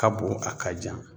Ka bon a ka jan.